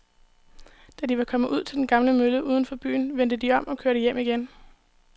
Da de var kommet ud til den gamle mølle uden for byen, vendte de om og kørte hjem igen.